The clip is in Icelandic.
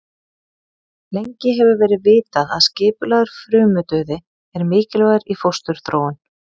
Lengi hefur verið vitað að skipulagður frumudauði er mikilvægur í fósturþróun.